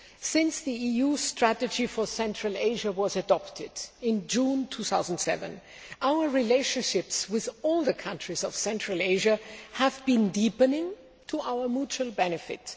Since the EU Strategy for Central Asia was adopted in June 2007, our relationships with all the countries of Central Asia have been deepening to our mutual benefit.